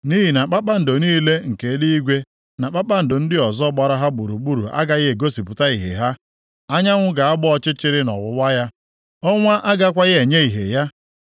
Nʼihi na kpakpando niile nke eluigwe na kpakpando ndị ọzọ gbara ha gburugburu agaghị egosipụta ìhè ha. Anyanwụ ga-agba ọchịchịrị nʼọwụwa ya ọnwa agakwaghị enye ìhè ya.